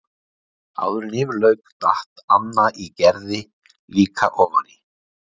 Áður en yfir lauk datt Anna í Gerði líka ofan í.